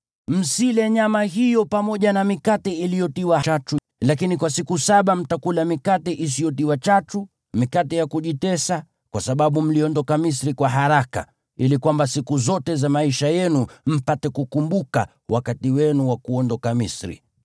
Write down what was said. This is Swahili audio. Msile nyama hiyo pamoja na mikate iliyotiwa chachu, lakini kwa siku saba mtakula mikate isiyotiwa chachu, mikate ya kujitesa, kwa sababu mliondoka Misri kwa haraka, ili kwamba siku zote za maisha yenu mpate kukumbuka wakati wenu wa kuondoka Misri.